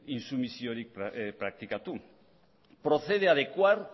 intsumisiorik praktikatu procede adecuar